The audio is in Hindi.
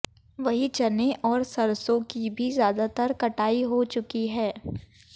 वहीं चने और सरसों की भी ज्यादातर कटाई हो चुकी है